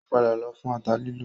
Ó padà lọ fún ata lílọ